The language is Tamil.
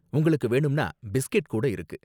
உங்களுக்கு வேணும்னா பிஸ்கெட் கூட இருக்கு.